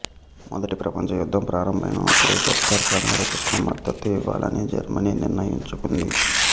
మొదటి ప్రపంచ యుద్ధం ప్రారంభమైనప్పుడు గదర్ ప్రణాళికకు మద్దతు ఇవ్వాలని జర్మనీ నిర్ణయించుకుంది